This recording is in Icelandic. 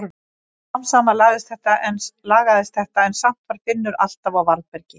Smám saman lagaðist þetta en samt var Finnur alltaf á varðbergi.